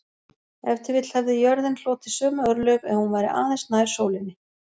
Ef til vill hefði jörðin hlotið sömu örlög ef hún væri aðeins nær sólinni.